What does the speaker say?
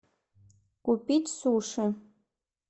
купить суши